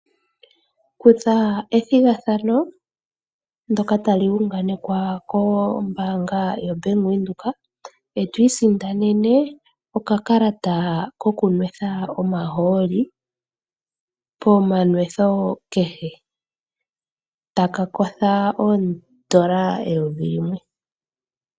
Kutha ethigathano ndoka tali unganekwa kombaanga yaVenduka eto isindanene okakalata koku nwetha omahooli pomanwetho kehe taka kotha oondola eyovi limwe